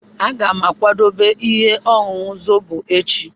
Aga m akwado ihe ọṅụṅụ Zobo echi.